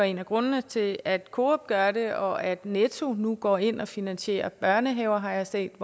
en af grundene til at coop gør det og at netto nu går ind og finansierer børnehaver har jeg set